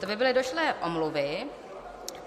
To by byly došlé omluvy.